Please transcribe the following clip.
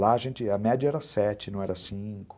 Lá a gente, média era sete, não era cinco.